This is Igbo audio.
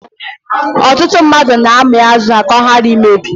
Ọtụtụ mmadụ na-ami azụ ha ka ọ ghara imebi.